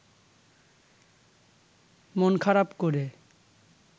মন খারাপ করে